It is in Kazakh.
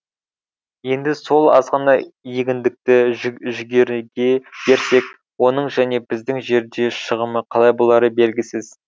енді сол азғана егіндікті жүгеріге берсек оның және біздің жерде шығымы қалай болары белгісіз